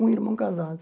Um irmão casado.